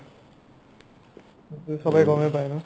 চ'বেই গ'মে পাই ন